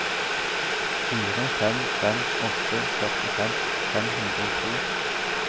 fire fem fem åtte førtifem fem hundre og to